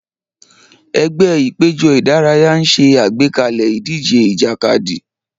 Ẹgbẹ́ ìpéjọ ìdárayá ń ṣe àgbékalẹ̀ ìdíje ìjàkadì.